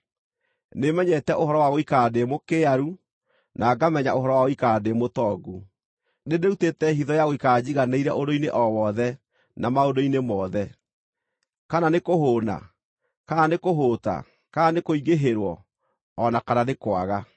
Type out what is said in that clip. Nĩmenyete ũhoro wa gũikara ndĩ mũkĩaru, na ngamenya ũhoro wa gũikara ndĩ mũtongu. Nĩndĩrutĩte hitho ya gũikara njiganĩire ũndũ-inĩ o wothe na maũndũ-inĩ mothe, kana nĩ kũhũũna, kana nĩ kũhũũta, kana nĩ kũingĩhĩrwo, o na kana nĩ kwaga.